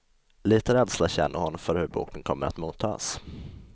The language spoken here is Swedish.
Lite rädsla känner hon för hur boken kommer att mottas.